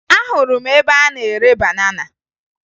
Ahụrụ m ebe a na-ere banana